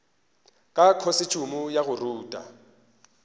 ka khosetšhumo ya go rutha